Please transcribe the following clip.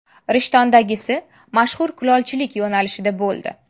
Rishtondagisi mashhur kulolchilik yo‘nalishida bo‘ldi.